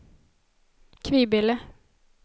Kvibille